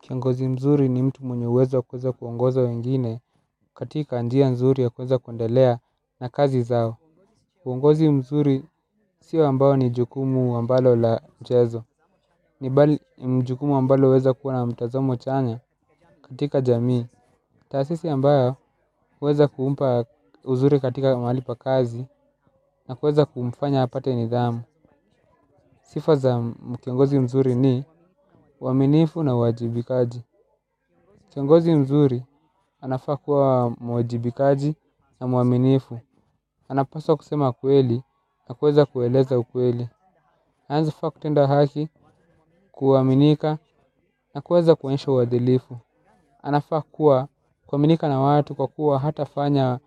Kiongozi mzuri ni mtu mwenye uwezo kuweza kuongoza wengine katika njia nzuri ya kuweza kuendelea na kazi zao. uUongozi mzuri sio ambayo ni jukumu ambalo la mchezo. Ni jukumu ambalo huweza kuwa na mtazamo chanya katika jamii. Taasisi ambayo huweza kumpa uzuri katika mahali pa kazi na kuweza kumfanya apate nidhamu. Siga za kiongozi mzuri ni uaminifu na uwajibikaji. Kiongozi mzuri anafaa kuwa mwajibikaji na mwaminifu. Anapaswa kusema kweli na kuweza kueleza ukweli. Anaeza faa kutenda haki, kuaminika na kuweza kuonyesha uadilifu. Anafaa kuwa kuaminika na watu kwa kuwa hata fanya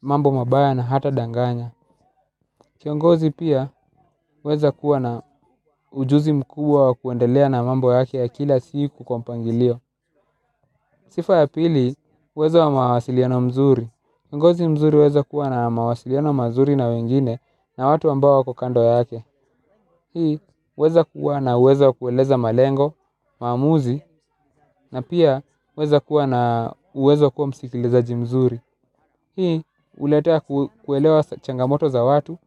mambo mabaya na hata danganya. Kiongozi pia huweza kuwa na ujuzi mkubwa wakuendelea na mambo yake ya kila siku kwa mpangilio. Sifa ya pili, huweza wa mawasiliano mzuri. Kiongozi mzuri huweza kuwa na mawasiliano mazuri na wengine na watu ambao wako kando yake. Hii huweza kuwa na uwezo wa kueleza malengo, maamuzi, na pia huweza kuwa na uwezo wa kuwa msikilizaji mzuri. Hii huletea kuelewa changamoto za watu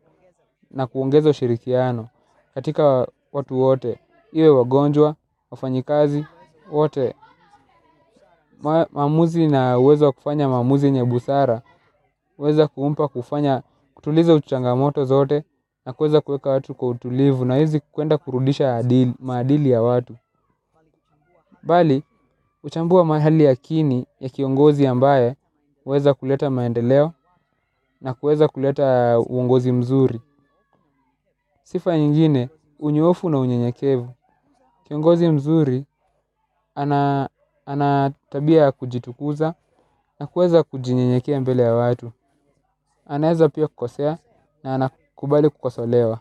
na kuongeza ushirikiano katika watu wote, iwe wagonjwa, wafanyikazi, wote maamuzi na uwezo wa kufanya maamuzi yenye busara huweza kumpa kutuliza changamoto zote na kuweza kuweka watu kwa utulivu na hawezi kwenda kurudisha maadili ya watu bali, kuchambua mahali ya kini ni kiongozi ambaye huweza kuleta maendeleo na huweza kuleta uongozi mzuri. Sifa nyingine, unyoofu na unyenyekevu. Kiongozi mzuri, ana tabia ya kujitukuza na kuweza kujinyenyekea mbele ya watu. Anaeza pia kukosea na anakubali kukosolewa.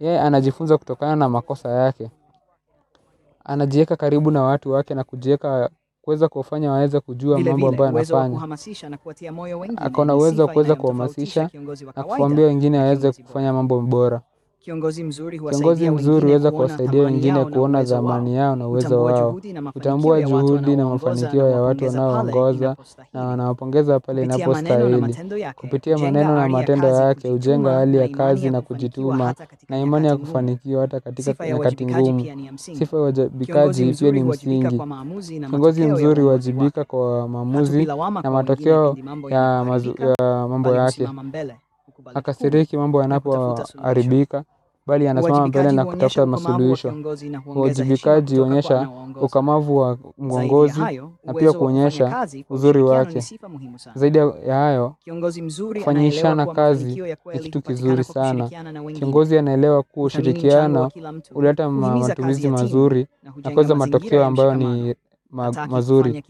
Yeye, anajifunza kutokana na makosa yake. Anajiweka karibu na watu wake na kujiweka kuweza kufanya waeze kujua mambo ambayo anafanya. Ako na uwezo wa kuweza kuhamasisha na kuwaambia wengine waweze kufanya mambo bora. Kiongozi mzuri huweza kuwasaidia wengine kuona thamani yao na uwezo wao. Kutambua juhudi na mafanikio ya watu wanao waongoza na wanawapongeza pale inapostahili. Kupitia maneno na matendo yake, hujenga hali ya kazi na kujituma na imani ya kufanikiwa. Sifa ya uwajibikaji pia ni ya msingi. Kiongozi mzuri huwajibika kwa maamuzi na matokeo ya mambo yake, hakasiriki mambo yanapo haribika bali ya anasimama mbele na kutafuta masuluhisho. Kwa uwajibikaji huonyesha ukomavu wa mwongozi na pia kuonyesha uzuri wake. Zaidia ya hayo, kufanyishana kazi ni kitu kizuri sana. Kiongozi anaelewa kuwa ushirikiano huleta matumizi mazuri na kuweza matokeo ambayo ni mazuri.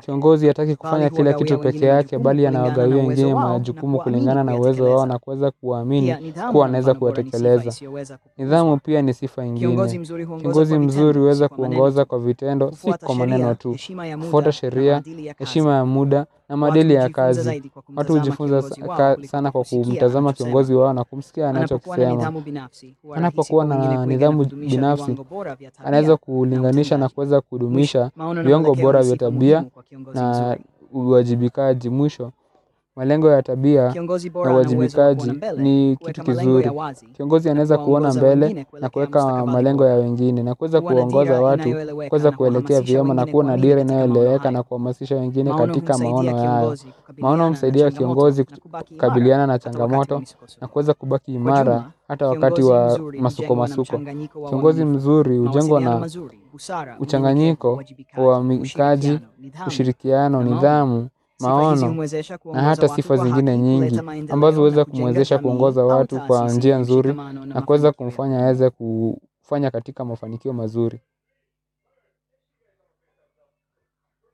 Kiongozi hataki kufanya kila kitu pekee yake bali anawagawia wengine majukumu kulingana na uwezo wao na kuweza kuwa amini kuwa wanaweza kuyatekeleza. Nidhamu pia ni sifa ingine. Kiongozi mzuri huweza kuongoza kwa vitendo si kwa maneno tu. Kufuata sheria, heshima ya muda na maadili ya kazi. Watu hujifunza sana kwa kumtazama kiongozi wao na kumisikia anacho kisema. Anapokuwa na nidhamu binafsi, anaeza kulinganisha na kuweza kudumisha viongo bora vya tabia na uwajibikaji. Mwisho. Malengo ya tabia na uwajibikaji ni kitu kizuri. Kiongozi anaweza kuona mbele na kuweka malengo ya wengine, na kuweza kuwaongoza watu, kuweza kuelekea vyema na kuwa na dira inayo eleweka na kuhamasisha wengine katika maono hayo. Maono humsaidia kiongozi kukabiliana na changamoto na kuweza kubaki imara hata wakati wa masuko masuko. Kiongozi mzuri, hujengwa na uchanganyiko, kwa mikaji, ushirikiano, nidhamu, maono na hata sifa zingine nyingi. Ambazo huweza kumwezesha kungoza watu kwa njia nzuri na kuweza kumfanya aweze kufanya katika mafanikio mazuri.